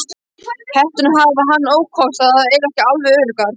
Hetturnar hafa þann ókost að þær eru ekki alveg öruggar.